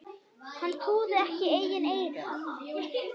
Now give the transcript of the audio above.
Hann trúði ekki eigin eyrum.